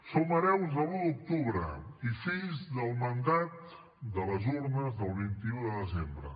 som hereus de l’un d’octubre i fills del mandat de les urnes del vint un de desembre